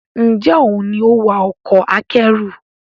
Njé òún ní o wá Ọkọ̀ akẹ́rù?